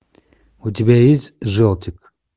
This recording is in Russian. у тебя есть желтик